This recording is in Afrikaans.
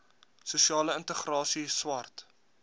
sosiale integrasie swart